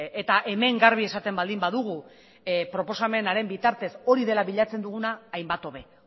eta hemen garbi esaten baldin badugu proposamenaren bitartez hori dela bilatzen duguna hainbat hobe